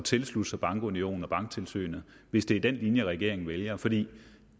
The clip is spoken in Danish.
tilslutte sig bankunionen og banktilsynet hvis det er den linje regeringen vælger for det